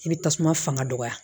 I bɛ tasuma fanga dɔgɔya